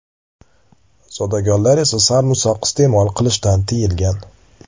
Zodagonlar esa sarimsoq iste’mol qilishgan tiyilgan.